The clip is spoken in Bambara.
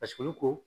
Paseke olu ko